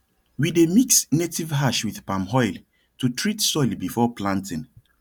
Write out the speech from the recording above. we dey mix native ash with palm oil to treat soil before planting